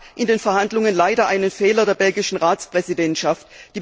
Es gab in den Verhandlungen leider einen Fehler der belgischen Ratspräsidentschaft.